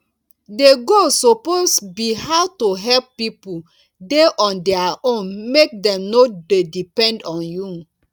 the goal suppose be how to help pipo dey on their own make dem no dey depend on you